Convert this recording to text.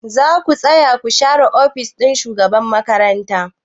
Za ku taya ni share ofis ɗin shugaban makaranta?